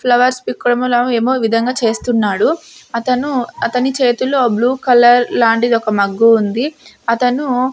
Flowers పీక్కోడం లమో ఏమో విధంగా చేస్తున్నాడు అతను అతని చేతులో బ్లూ కలర్ లాంటిది ఒక మగ్గు ఉంది అతను.